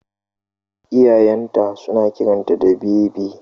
Iyayen ta suna kiranta da Bebi